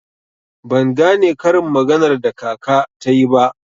Ban gane karin maganar da kaka tayi ba.